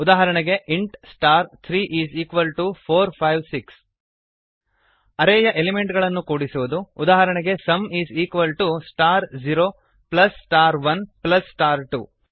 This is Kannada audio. ಉದಾಹರಣೆಗೆ int star three is equal to four five six ಅರೇಯ ಎಲಿಮೆಂಟ್ ಗಳನ್ನು ಕೂಡಿಸುವುದು ಉದಾಹರಣೆಗೆ sum is equal to star zero plus star one plus star to